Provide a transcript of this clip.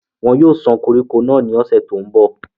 wọn yóò sán koríko náà ní ọ̀sẹ̀ tó ń bọ̀